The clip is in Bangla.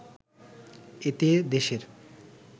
এতে দেশের